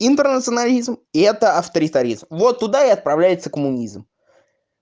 интернационализм это авторитаризм вот туда и отправляется коммунизм